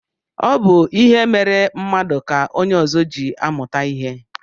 Ọ bụ ihe mere mmadụ ka onye ọzọ ji amụta ihe.